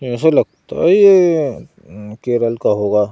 ऐसा लगता है ये केरल का होगा।